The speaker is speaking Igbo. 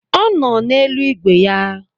Ọ nọ na-elu ìgwè ya